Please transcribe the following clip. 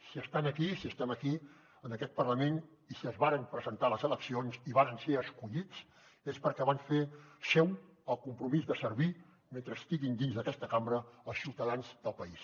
si estan aquí si estem aquí en aquest parlament i si es varen presentar a les eleccions i varen ser escollits és perquè van fer seu el compromís de servir mentre estiguin dins d’aquesta cambra els ciutadans del país